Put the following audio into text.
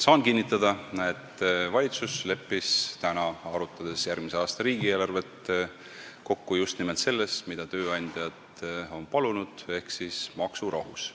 Saan kinnitada, et valitsus leppis täna, arutades järgmise aasta riigieelarvet, kokku just nimelt selles, mida tööandjad on palunud, ehk siis maksurahus.